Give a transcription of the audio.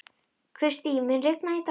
Kristý, mun rigna í dag?